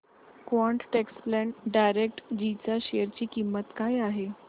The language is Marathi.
क्वान्ट टॅक्स प्लॅन डायरेक्टजी च्या शेअर ची किंमत काय आहे